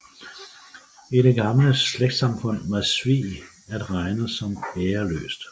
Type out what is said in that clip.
I det gamle slægtssamfund var svig at regne som æreløst